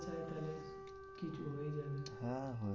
হ্যাঁ